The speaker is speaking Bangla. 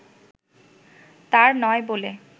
তার নয় বলে